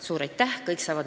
Suur aitäh!